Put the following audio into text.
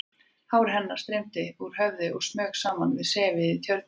Hár hennar streymdi úr höfðinu og smaug saman við sefið í Tjörninni.